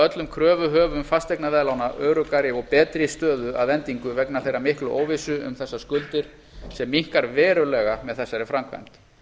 öllum kröfuhöfum fasteignaveðlána öruggari og betri stöðu að endingu vegna þeirrar miklu óvissu um þessar skuldir sem minnkar verulega með þessari framkvæmd